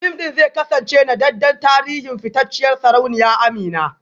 Fim ɗin zai kasance naɗaɗɗen tarihin fitacciyar sarauniya Amina